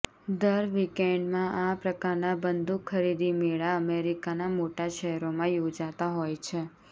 દર વીકએન્ડમાં આ પ્રકારના બંધૂકખરીદી મેળા અમેરિકાનાં મોટાં શહેરોમાં યોજાતા હોય છે